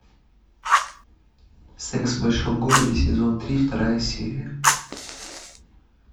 секс в большом городе сезон три вторая серия